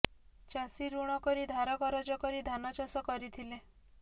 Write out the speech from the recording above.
ଚାଷି ଋଣ କରି ଧାର କରଜ କରି ଧାନ ଚାଷ କରିଥିଲେ